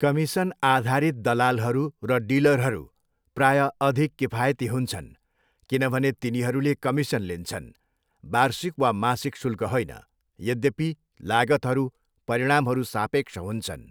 कमिसनआधारित दलालहरू र डिलरहरू प्रायः अधिक किफायती हुन्छन् किनभने तिनीहरूले कमिसन लिन्छन्, वार्षिक वा मासिक शुल्क होइन, यद्यपि लागतहरू परिणामहरू सापेक्ष हुन्छन्।